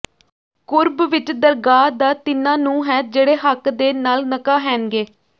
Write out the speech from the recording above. ਕੁਰੱਬ ਵਿੱਚ ਦਰਗਾਹ ਦਾ ਤਿੰਨ੍ਹਾਂ ਨੂੰ ਹੈ ਜਿਹੜੇ ਹੱਕ ਦੇ ਨਾਲ ਨਕਾਹੈਨ ਗੇ